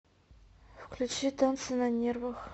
включи танцы на нервах